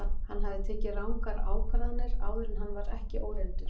Hann hafði tekið rangar ákvarðanir áður en hann var ekki óreyndur.